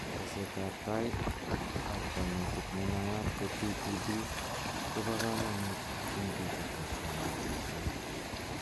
Teset ab tai ab kanetik ne naat ko TPD kobo kamanut eng bitet ab kanetishet